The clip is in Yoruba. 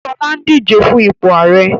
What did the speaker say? Ṣọlá ń díje fún ipò ààrẹ